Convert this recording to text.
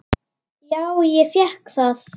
Já, ég fékk það.